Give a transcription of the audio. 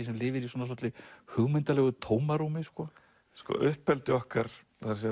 sem lifir í svona svolitlu hugmyndalegu tómarúmi sko sko uppeldi okkar